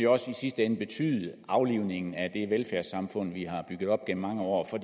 også i sidste ende betyde aflivningen af det velfærdssamfund vi har bygget op gennem mange år for